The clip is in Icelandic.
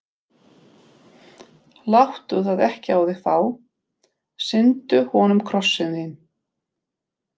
Láttu það ekki á þig fá: sýndu honum Krossinn þinn.